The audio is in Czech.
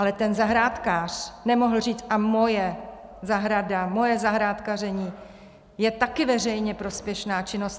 Ale ten zahrádkář nemohl říct: A moje zahrada, moje zahrádkaření je taky veřejně prospěšná činnost.